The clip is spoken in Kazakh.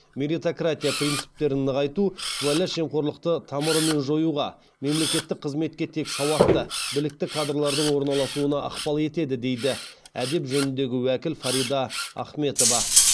меритократия принциптерін нығайту сыбайлас жемқорлықты тамырымен жоюға мемлекеттік қызметке тек сауатты білікті кадрлардың орналасуына ықпал етеді дейді әдеп жөніндегі уәкіл фарида ахметова